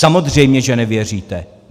Samozřejmě že nevěříte.